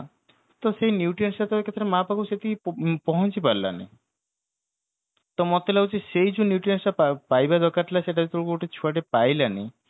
ତ ସେଇ nutrients ଟା ମା ପାଖରୁ ସେଠିକି ପହ ପହଞ୍ଚି ପାରିଲା ନି ତ ମତେ ଲାଗୁଛି ସେଇ ଯୋଉ nutrients ଟା ପା ପାଇବା ଦରକାର ଥିଲା ସେଇଟା ବି ଗୋଟେ ଛୁଆଟେ ପାଇଲାନି